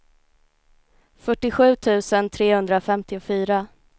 fyrtiosju tusen trehundrafemtiofyra